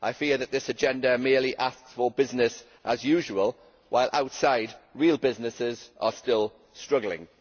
I fear that this agenda merely asks for business as usual, while outside, real businesses are still struggling.